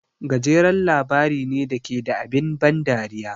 Gajeren labari ne da ke da abin ban dariya.